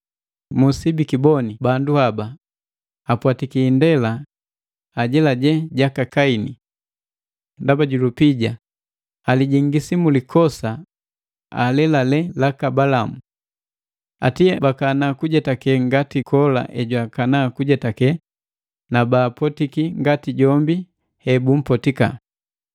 Musibikiboni! Bandu haba apwatiki indela ajelaje jaka Kaini. Ndaba ju lupija, alijingisi mu likosa alelale laka Balamu. Ate bakana kujetake ngati Kola ejwakana kujetake na baapotiki ngati jombi he bumpotika.